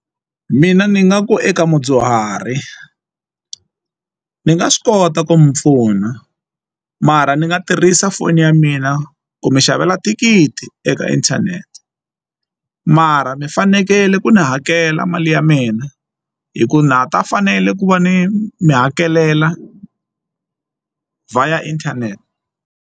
Mina ni nga ku eka mudyuhari ni nga swi kota ku mi pfuna mara ni nga tirhisa foni ya mina ku mi xavela thikithi eka inthanete mara mi fanekele ku ndzi hakela mali ya mina hi ku na ha ta fanele ku va ni mi hakelela via inthanete.